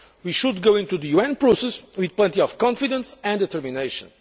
form. We should go into the UN process with plenty of confidence and determination.